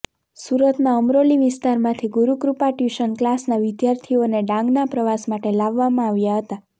સુરતના અમરોલી વિસ્તારમાંથી ગુરુકૃપા ટ્યુશન ક્લાસના વિદ્યાર્થીઓને ડાંગના પ્રવાસ માટે લાવવામાં આવ્યા હતાં